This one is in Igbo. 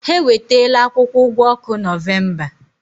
Ha ewetala akwụkwọ ụgwọ ọkụ Nọvemba.